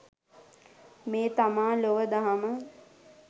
මේ තමා ලොව දහම